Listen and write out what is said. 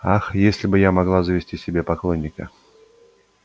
ах если бы я могла завести себе поклонника